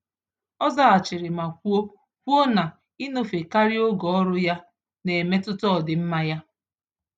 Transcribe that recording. Ọ zaghachiri ma kwuo kwuo na, ịnọfe karịa oge ọrụ ya, n'emetụta ọdịmma ya